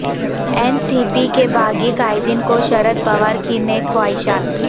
N C P کے باغی قائدین کو شردپوار کی نیک خواہشات